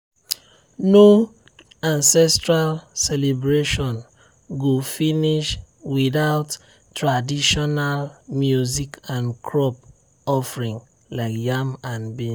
no ancestral celebration go finish without traditional music and crop offering like yam and beans.